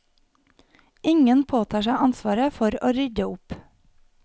Ingen påtar seg ansvaret for å rydde opp.